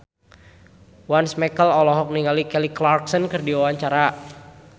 Once Mekel olohok ningali Kelly Clarkson keur diwawancara